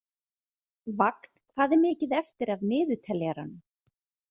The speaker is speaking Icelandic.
Vagn, hvað er mikið eftir af niðurteljaranum?